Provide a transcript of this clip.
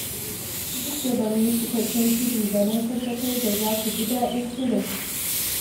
Duk da ba mu yi cikakken shiri ba na tabbatar za ku ji daɗin shirin.